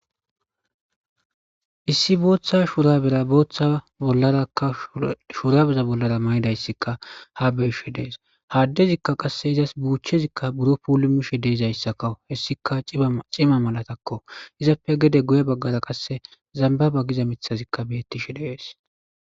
Issi bootha shurabera; bootha bollaraka shurabeza bollara mayidaysika haa be'she dees.ha addezika qasse ezas buuchezika buro puulumishe de'zayssa hesika cima malatako.ezape gede guye bagara zambaba giza mithay be'tishe dees.